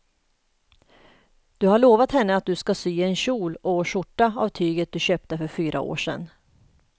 Du har lovat henne att du ska sy en kjol och skjorta av tyget du köpte för fyra år sedan.